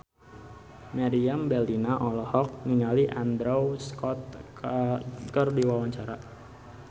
Meriam Bellina olohok ningali Andrew Scott keur diwawancara